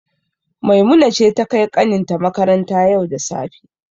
Maimuna ce ta kai kanin ta makaranta yau da safe.